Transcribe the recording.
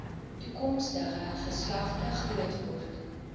toekomstige geslagte grootword